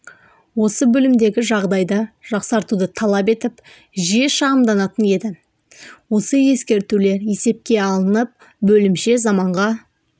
осы бөлімдегі жағдайды жақсартуды талап етіп жиі шағымданатын еді осы ескертулер есепке алынып бөлімше заманға